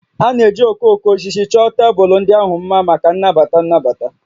A na-eji okooko osisi chọọ tebụl ndị ahụ mma maka nnabata nnabata